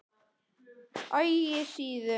Ægissíðu